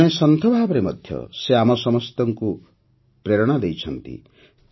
ଜଣେ ସନ୍ଥ ଭାବରେ ମଧ୍ୟ ସେ ଆମ ସମସ୍ତଙ୍କୁ ପ୍ରେରଣା ଦେଇଛନ୍ତି